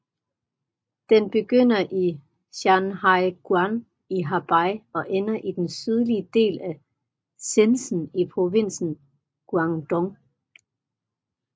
Den begynder i Shanhaiguan i Hebei og ender i den sydlige del af Shenzhen i provinsen Guangdong